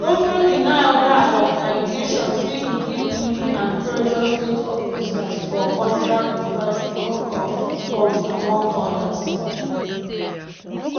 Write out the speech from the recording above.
e also deny oda allegations say e dey bully and pressure state officers for contracts diversion of funds among odas.